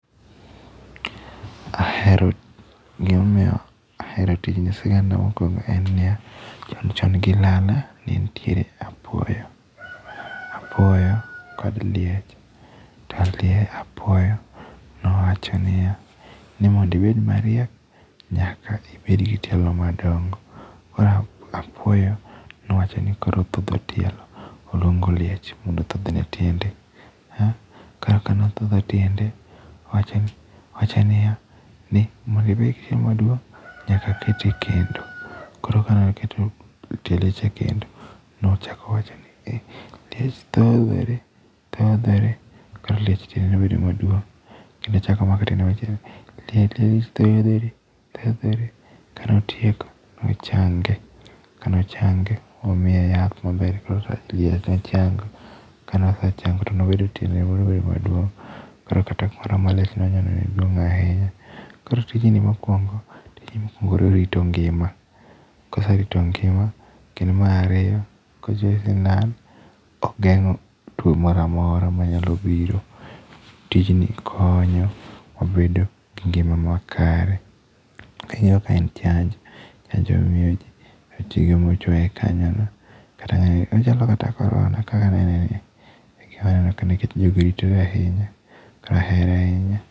Ahero gima omiyo ahero tijni sigana mokuongo en niya, chon chon gilala ne nitiere apuoyo, apuoyo kod liech to apuoyo nowacho niya ni mondo ibed mariek nyaka ibed kod tielo madongo. Koro apuoyo nowacho ni koro othedho tielo. Oluongo liech mondo othedhne tiende, koro kanothedho tiende, nowacho niya, mondo ibed gi tielo maduong', nyaka kete e kendo koro kane okete ekendo tiende cha ekendo nowacho niya, liech tiende thodhore, thodhore to koro liech tiende nobedo maduong'. Kendo ochako om ako tielo machielo, liech tinde thodhore thodhore kane otieko ne ochange. Kane ochange ne omiye yath maber kendo koro nochango kane osechango to nobedo matiende nobedo maduong' koro kata kane malitno ne duong' ahinya. Koro tijni mokuongo tijni mokuongo orito ngima, ka oserito ngima kendo mar ariyo kendo kidhi nam ogeng'o tuo moro amora ma nyalo biro. Tijni konyo wabedo gi ngima makare, miyo ka en chanj, chanjo miyoji rakeke michuoye kanyo ochalo kata korona kaka aneneni nikech aneno ka jogi oritore ahinya to ahere ahinya.